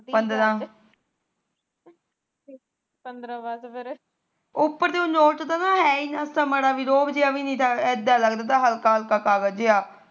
ਉਪਰ ਤੋ ਨੋਟ ਦਾ ਹੈਈ ਨਾ ਤਾ ਰੋਅਬ ਬੀ ਨੀ ਤਾ ਐਦਾ ਲੱਗਦਾ ਹਲਕਾ ਹਲਕਾ ਜਿਹਾ